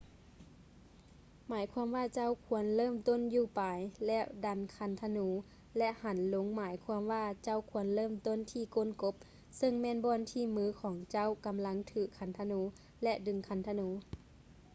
ໝາຍຄວາມວ່າເຈົ້າຄວນເລີ່ມຕົ້ນຢູ່ປາຍ ແລະ ດັນຄັນທະນູ ແລະ ຫັນລົງໝາຍຄວາມວ່າເຈົ້າຄວນເລີ່ມຕົ້ນທີ່ກົ້ນກົບ ເຊິ່ງແມ່ນບ່ອນທີ່ມືຂອງເຈົ້າກຳລັງຖືຄັນທະນູ ແລະ ດຶງຄັນທະນູ